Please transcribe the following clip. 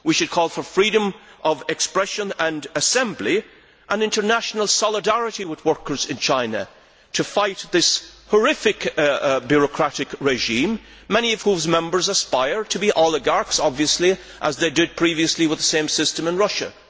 We should call for freedom of expression and assembly and international solidarity with workers in China to fight this horrific bureaucratic regime, many of whose members aspire to be oligarchs, obviously, as they did previously with the same system in Russia.